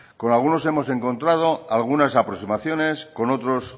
con algunos hemos encontrado algunas aproximaciones con otros